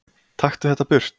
Taktu þetta burt!